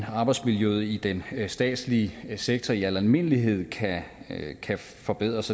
arbejdsmiljøet i den statslige sektor i almindelighed kan kan forbedres